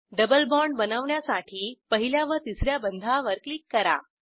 double bond बनवण्यासाठी पहिल्या व तिस या बंधावर क्लिक करा